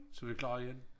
Så vi klar igen